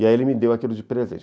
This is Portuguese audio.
E aí ele me deu aquilo de presente.